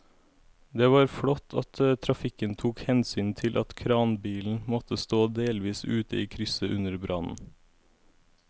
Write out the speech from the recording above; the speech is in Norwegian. Det var flott at trafikken tok hensyn til at kranbilen måtte stå delvis ute i krysset under brannen.